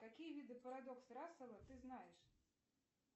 какие виды парадокс рассела ты знаешь